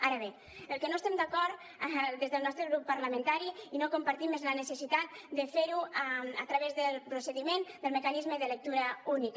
ara bé amb el que no estem d’acord des del nostre grup parlamentari i no compartim és la necessitat de fer ho a través del procediment del mecanisme de lectura única